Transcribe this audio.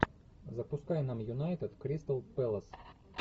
запускай нам юнайтед кристал пэлас